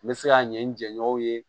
N bɛ se ka ɲɛ n jɛɲɔgɔnw ye